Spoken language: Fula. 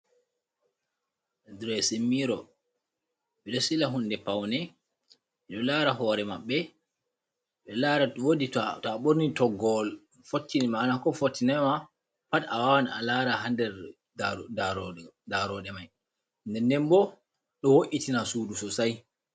Diresin miro, ɓe ɗo sila hunde paune, ɓe do lara hoore maɓɓe, ɓe ɗo lara woodi to a ɓorni toggowol fottine maana ko fottinai ma pat a wawan a laara ha nder ndarooɗe mai, nden den bo ɗo wo’itina suudu sosai.